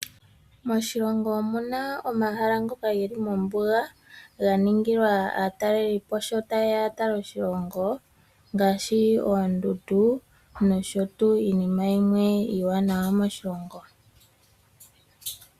Moshilongo omuna omahala ngoka geli mombuga ga ningilwa aatalelipo sho tayeya yatale oshilongo ngaashi oondundu nosho tuu iinima yimwe iiwanawa moshilongo.